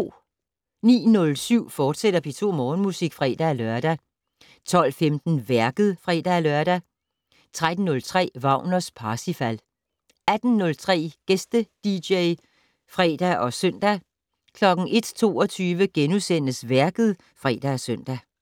09:07: P2 Morgenmusik, fortsat (fre-lør) 12:15: Værket (fre-lør) 13:03: Wagners Parsifal 18:03: Gæste-dj (fre og søn) 01:22: Værket *(fre-søn)